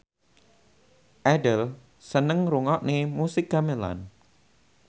Adele seneng ngrungokne musik gamelan